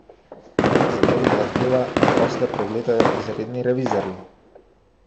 Zato zahteva, da posle pregledajo izredni revizorji.